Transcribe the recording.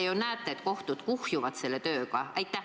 Te ju näete, et kohtutes see töö kuhjub.